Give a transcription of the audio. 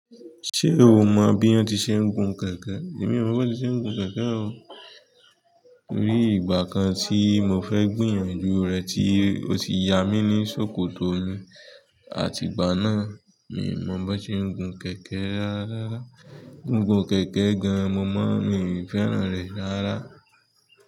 Ṣé o mọ bí wọ́n ti n ṣe gun kẹ̀kẹ́? Èmi ò mọ̀ bí wọ́n ti ń ṣe gun kẹ̀kẹ́ o. Ní ìgbà kan tí mo fẹ́ gbìyànjú rẹ̀ tí ó ti ya mí ní ṣòkòtò mi, àti ìgbà náà, mi ò mọ̀ bó ṣe ń gun kẹ̀kẹ́ rárá rárá. Gigun kẹ̀kẹ́ gan mi i fẹ́ràn re rara.